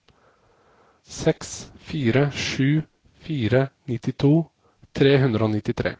seks fire sju fire nittito tre hundre og nittitre